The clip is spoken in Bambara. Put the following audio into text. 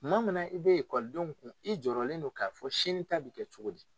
Tuma min i bɛ ekɔlidenw kun i jɔrɔlen don k'a fɔ sini ta bɛ kɛ cogo di